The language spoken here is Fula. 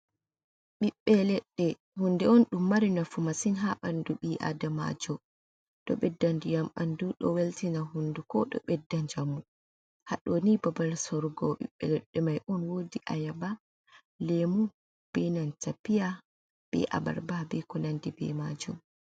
Ɓiɓbe leɗɗe hunde on ɗum mari nafu masin ha bandu ɓi Adamajo. Ɗo ɓedda ndiyam ɓandu, ɗo weltina hunduko, ɗo ɓedda njamu. Haɗoni babal sorugo ɓibbe leɗɗe mai on. Wodi ayaba, lemu, be nanta piya, be abarba, be konandi be majum.